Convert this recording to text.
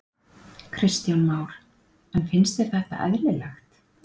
Kristján Már: En finnst þér þetta eðlilegt?